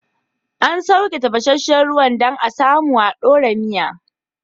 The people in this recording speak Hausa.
An sauke tafasashen ruwan dan a samu a dora miya